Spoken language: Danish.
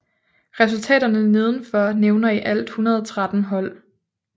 Resultaterne nedenfor nævner i alt 113 hold